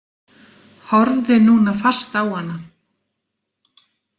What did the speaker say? Horfði núna fast á hana.